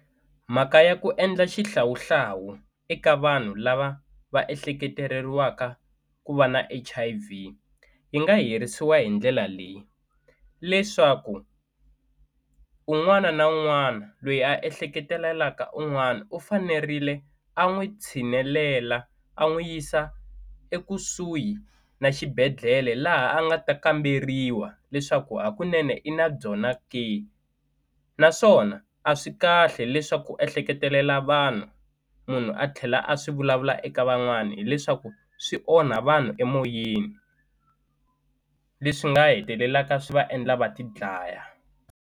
Mhaka ya ku endla xihlawuhlawu eka vanhu lava va ehleketeleriwaka ku va na H_I_V yi nga herisiwa hi ndlela leyi leswaku un'wana na un'wana lweyi a ehleketelelaka un'wana u fanerile a n'wi tshinelela a n'wi yisa ekusuhi na xibedhlele laha a nga ta kamberiwa leswaku hakunene i na byona ke naswona a swi kahle leswaku ehleketelela vanhu munhu a tlhela a swi vulavula eka van'wani hileswaku swi onha vanhu emoyeni leswi nga hetelelaka swi va endla va ti dlaya.